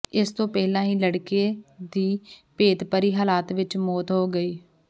ਇਸ ਤੋਂ ਪਹਿਲਾਂ ਹੀ ਲੜਕੇ ਦੀ ਭੇਤਭਰੀ ਹਾਲਾਤ ਵਿੱਚ ਮੌਤ ਹੋ ਗਈ